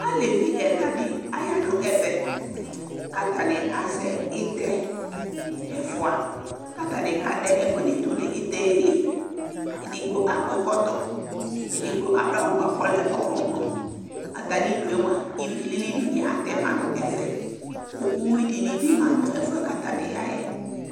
Alevi ɛla di aya nu ɛʋɛ, k'ata ni azɛ ɩtɛ ɛfua k'ata ni k'adɛ ɛku ɛdi du nu ɩtɛ' li Edigbo akɔ ɛkɔtɔ, edigbo adu awu bua k'ɔlɛ ɔwlɔmɔ ata mi'due mua iʋi lili di ni atɛ ma n'ɛfɛ, ku uwui dini bi ma nu ɛfuɛ k'ata ni ya yɛ